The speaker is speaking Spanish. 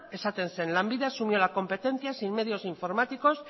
esaten zen lanbide asumió la competencia sin medios informáticos